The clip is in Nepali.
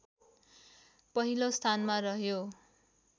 पहिलो स्थानमा रह्यो